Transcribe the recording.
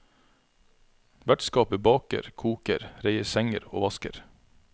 Vertskapet baker, koker, reier senger og vasker.